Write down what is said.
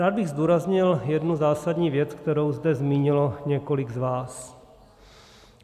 Rád bych zdůraznil jednu zásadní věc, kterou zde zmínilo několik z vás.